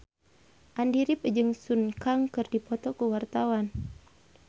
Andy rif jeung Sun Kang keur dipoto ku wartawan